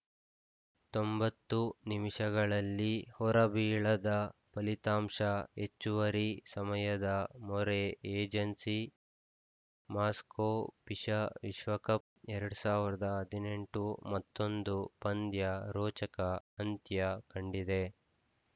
ತೊಂಬತ್ತು ನಿಮಿಷಗಳಲ್ಲಿ ಹೊರಬೀಳದ ಫಲಿತಾಂಶ ಹೆಚ್ಚುವರಿ ಸಮಯದ ಮೊರೆ ಏಜೆನ್ಸಿ ಮಾಸ್ಕೋ ಫಿಷಾ ವಿಶ್ವಕಪ್‌ ಎರಡ್ ಸಾವಿರದ ಹದಿನೆಂಟು ಮತ್ತೊಂದು ಪಂದ್ಯ ರೋಚಕ ಅಂತ್ಯ ಕಂಡಿದೆ